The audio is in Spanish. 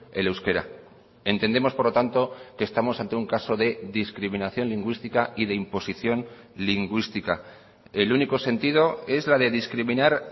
el euskera entendemos por lo tanto que estamos ante un caso de discriminación lingüística y de imposición lingüística el único sentido es la de discriminar